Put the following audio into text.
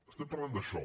estem parlant d’això